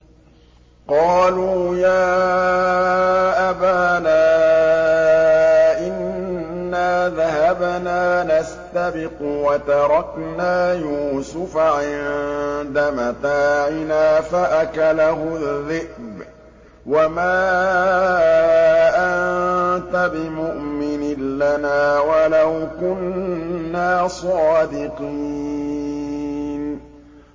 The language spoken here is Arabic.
قَالُوا يَا أَبَانَا إِنَّا ذَهَبْنَا نَسْتَبِقُ وَتَرَكْنَا يُوسُفَ عِندَ مَتَاعِنَا فَأَكَلَهُ الذِّئْبُ ۖ وَمَا أَنتَ بِمُؤْمِنٍ لَّنَا وَلَوْ كُنَّا صَادِقِينَ